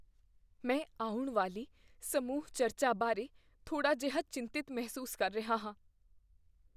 ਮੈਂ ਆਉਣ ਵਾਲੀ ਸਮੂਹ ਚਰਚਾ ਬਾਰੇ ਥੋੜਾ ਜਿਹਾ ਚਿੰਤਿਤ ਮਹਿਸੂਸ ਕਰ ਰਿਹਾ ਹਾਂ।